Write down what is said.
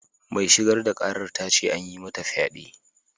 Mai shigar da karar ta ce an yi mata fyade.